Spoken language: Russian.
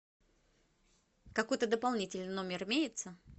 какой то дополнительный номер имеется